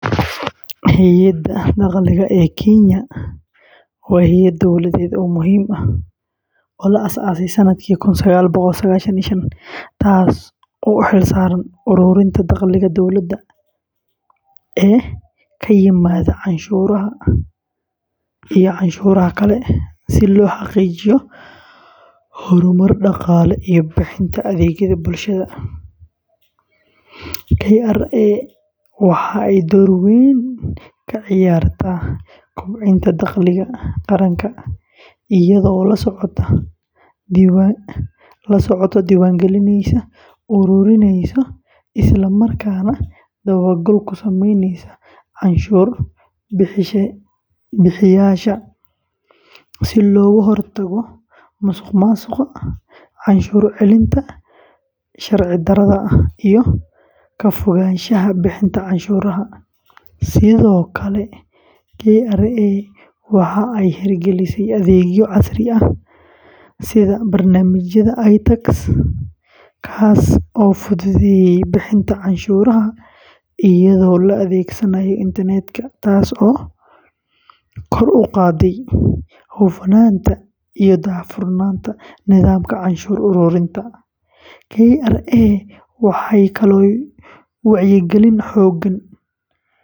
Hay’adda Dakhliga ee Kenya waa hay’ad dowladeed oo muhiim ah oo la aasaasay sannadkii kun sagaal boqol sagaashan iyo shaanki, taas oo u xil saaran ururinta dakhliga dowladda ee ka yimaada canshuuraha iyo cashuuraha kale si loo xaqiijiyo horumar dhaqaale iyo bixinta adeegyada bulshada. KRA waxa ay door weyn ka ciyaartaa kobcinta dakhliga qaranka iyadoo la socota, diiwaangelinaysa, ururinaysa, isla markaana dabagal ku sameynaysa canshuur bixiyeyaasha, si looga hortago musuqmaasuqa, cashuur celinta sharci darrada ah, iyo ka fogaanshaha bixinta canshuuraha. Sidoo kale, KRA waxa ay hirgelisay adeegyo casri ah sida barnaamijka iTax, kaas oo fududeeya bixinta canshuuraha iyadoo la adeegsanayo internet-ka, taas oo kor u qaadday hufnaanta iyo daahfurnaanta nidaamka canshuur ururinta. KRA waxay kaloo wacyigelin xooggan.